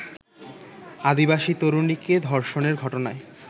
আদিবাসী তরুণীকে ধর্ষণের ঘটনায়